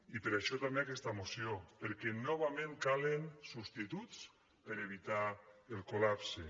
i per això també aquesta moció perquè novament calen substituts per evitar el col·lapse